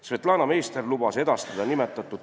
Svetlana Meister lubas selle dokumendi saata.